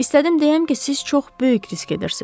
İstədim deyəm ki, siz çox böyük risk edirsiz.